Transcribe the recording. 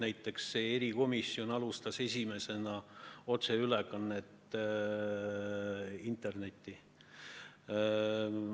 Näiteks hakkas see komisjon esimesena tegema otseülekandeid internetis.